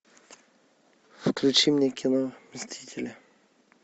включи мне кино мстители